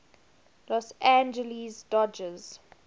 los angeles dodgers